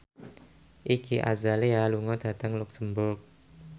Iggy Azalea lunga dhateng luxemburg